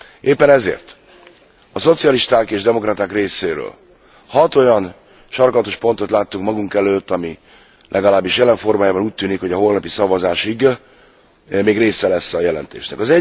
Éppen ezért a szocialisták és demokraták részéről 6 olyan sarkalatos pontot láttunk magunk előtt, amelyek legalábbis jelen formájában úgy tűnik a holnapi szavazásig még része lesznek a jelentésnek.